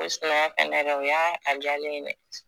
O sinaya dɛ o y'a a jalen ye dɛ